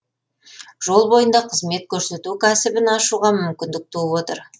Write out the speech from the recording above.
жол бойында қызмет көрсету кәсібін ашуға мүмкіндік туып отыр